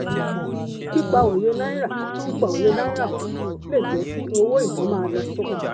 pípa òye náírà pípa òye náírà pò lè jẹ́ kí owó iná má lọ sókè.